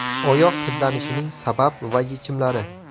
Oyoq hidlanishining sabab va yechimlari.